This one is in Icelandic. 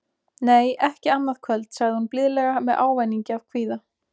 Nei, ekki annað kvöld, sagði hún blíðlega með ávæningi af kvíða.